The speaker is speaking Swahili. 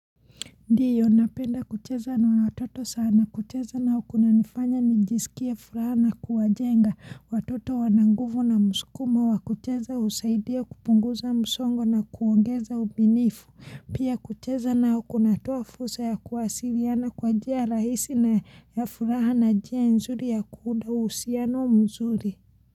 Ndiyo napenda kucheza na watoto sana kucheza nao kunanifanya nijisikie furaha na kuwajenga watoto wananguvu na muskumo wakucheza usaidia kupunguza musongo na kuongeza ubinifu pia kucheza nao kunatua fursa ya kuwasiriana kwa jia rahisi na ya furaha na njia nzuri ya kuunda uhusiano mzuri.